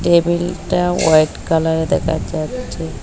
টেবিলটা white colour দেখা যাচ্ছে।